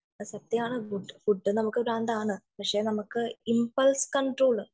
അത് സത്യാണോ എന്തോ ഫുഡ് നമുക്ക് ഭ്രാന്താണ് പക്ഷെ നമുക്ക് ഇമ്പൾസ് കണ്ട്രോൾ